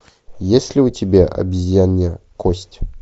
есть ли у тебя обезьянья кость